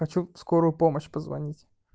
хочу в скорую помощь позвонить